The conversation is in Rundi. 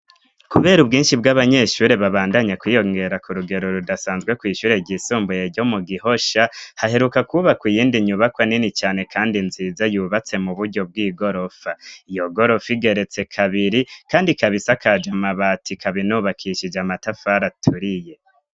kubera ubwinshi bw'abanyeshure babandanya kwiyongera kurugero rudasanzwe kw' ishure ry'isumbuye ryo mu gihosha haheruka kubakwa iyindi nyubakwa nini cane kandi nziza yubatse mu buryo bw'igorofa iyo gorofa igeretse kabiri kandi kabisakaje mabati kabinubakishije amatafara aturiye